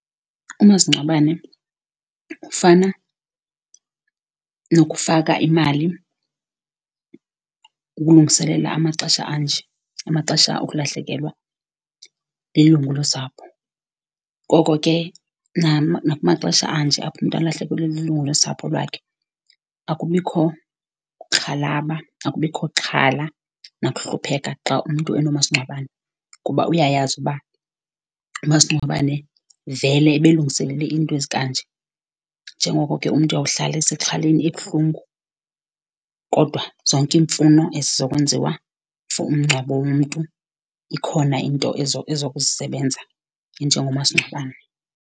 Umasingcwabane ufana nokufaka imali ukulungiselela amaxesha anje, amaxesha okulahlekelwa lilungu losapho. Ngoko ke nakumaxesha anje apho umntu alahlekelwe lilungu losapho lwakhe akubikho kuxhalaba, akubikho xhala nakuhlupheka xa umntu enomasingcwabane, kuba uyayazi uba umasingcwabane vele ebelungiselele iinto ezikanje. Njengoko ke umntu uyawuhlala esexhaleni ebuhlungu, kodwa zonke iimfuno ezizokwenziwa for umngcwabo womntu ikhona into ezokuzisebenza enjengomasingcwabane.